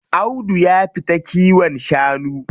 Audu ya fita kiwon shanu.